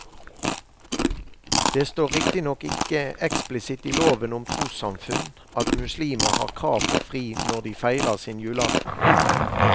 Det står riktignok ikke eksplisitt i loven om trossamfunn at muslimer har krav på fri når de feirer sin julaften.